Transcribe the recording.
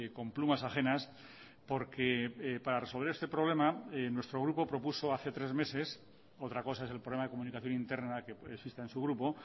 con plumas ajenas porque para resolver este problema nuestro grupo propuso hace tres meses otra cosa es el problema de comunicación interna que existe en su grupo